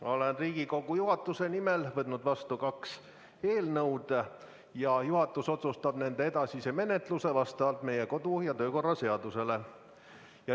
Ma olen Riigikogu juhatuse nimel võtnud vastu kaks eelnõu ja juhatus otsustab nende edasise menetluse vastavalt meie kodu- ja töökorra seadusele.